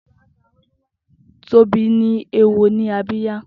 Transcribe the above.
Tobi ni éwó ni àbiyá